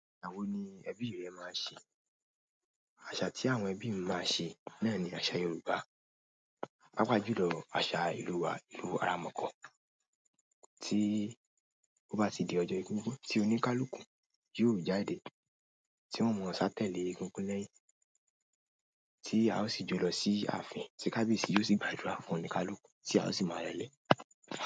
Àwo ni ẹbí rẹ máa ń ṣe? Àṣà tí àwọn ẹbí mi máa ń ṣe náà ni àṣà Yorùbá. Pàapaa jùlọ àṣà ìlú wa, ìlú aramọ̀kọ́. Tí ó bá ti di ọjo egungun tí oníkálukú yóò jáde, tí wọ́n o maa sá tẹ́lẹ̀ egungun lẹ́yìn, tí a ó sì jọ ló sí ààfin ti kábíyèsí yóò sì gbàdúrà fún oníkálukú tí a ó sì máa rẹlẹ̀.